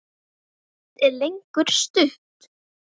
Hvorugt er lengur stutt.